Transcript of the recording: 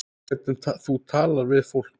Hvernig þú talar við fólk.